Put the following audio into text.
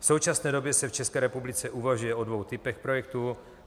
V současné době se v České republice uvažuje o dvou typech projektů.